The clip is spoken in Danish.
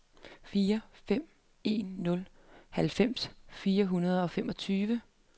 fire fem en nul halvfems fire hundrede og femogtyve